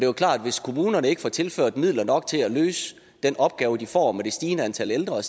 jo klart hvis kommunerne ikke får tilført midler nok til at kunne løse den opgave de får med det stigende antal ældre og